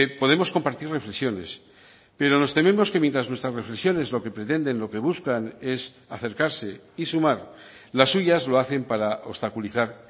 podemos compartir reflexiones pero nos tememos que mientras nuestras reflexiones lo que pretenden lo que buscan es acercarse y sumar las suyas lo hacen para obstaculizar